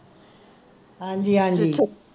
ਹਾਂਜੀ ਹਾਂਜੀ